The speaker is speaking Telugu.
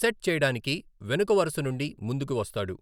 సెట్ చేయడానికి వెనుక వరుస నుండి ముందుకు వస్తాడు.